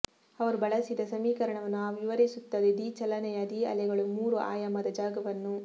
ಅವರು ಬಳಸಿದ ಸಮೀಕರಣವನ್ನು ಆ ವಿವರಿಸುತ್ತದೆ ದಿ ಚಲನೆಯ ದಿ ಅಲೆಗಳು ಮೂರು ಆಯಾಮದ ಜಾಗವನ್ನು